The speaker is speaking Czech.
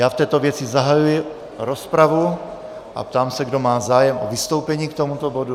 Já v této věci zahajuji rozpravu a ptám se, kdo má zájem o vystoupení k tomuto bodu.